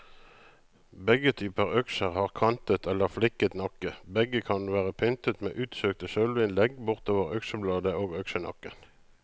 Begge typer økser har kantet eller fliket nakke, og begge kan være pyntet med utsøkte sølvinnlegg bortover øksebladet og øksenakken.